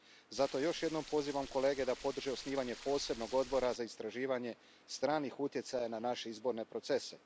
Zato još jednom pozivam kolege da podrže osnivanje posebnog odbora za istraživanje stranih utjecaja na naše izborne procese.